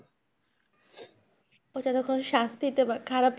ও যেন কোন শাস্তি দেওয়া খারাপ,